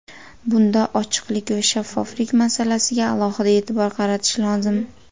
Bunda ochiqlik va shaffoflik masalasiga alohida e’tibor qaratish lozim.